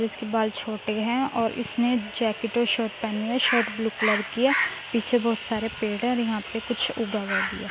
इसके बाल छोटे है और इसने जैकेट और शर्ट पहने है | शर्ट ब्लू कलर की है | पीछे बहुत सारे पेड़ है और यहा पे कुछ उगा हुआ भी है ।